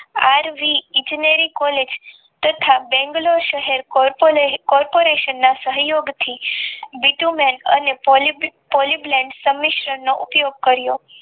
r v Engineeri college તથા બંગ્લોર શહેર કોર્પોરેશનના સહયોગ થી બીટુ મેન અને Poly Blend સંમિશ્ર નો ઉપયોગ કર્યો